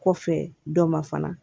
Kɔfɛ dɔ ma fana